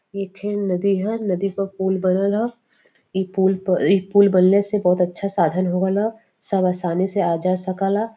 ई खेन नदी ह। नदी पर पुल बनल ह। ई पूल ई पुल बनले से बहुत अच्छा साधन हो गईल ह। सब आसनी से आजा सकल ह। .